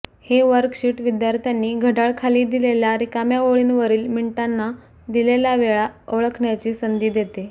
हे वर्कशीट विद्यार्थ्यांनी घड्याळ खाली दिलेल्या रिकाम्या ओळींवरील मिनिटांना दिलेला वेळा ओळखण्याची संधी देते